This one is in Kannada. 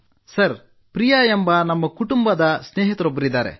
ಸರ್ ಪ್ರಿಯಾ ಎಂಬ ನಮ್ಮ ಕುಟುಂಬ ಸ್ನೇಹಿತರೊಬ್ಬರಿದ್ದಾರೆ